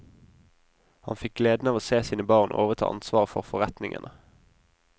Han fikk gleden av å se sine barn overta ansvaret for forretningene.